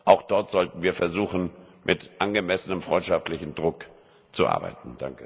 Auch dort sollten wir versuchen, mit angemessenem freundschaftlichem Druck zu arbeiten.